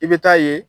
I bɛ taa ye